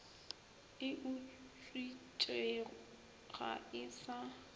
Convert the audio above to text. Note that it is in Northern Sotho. e utswitšwe ga e sa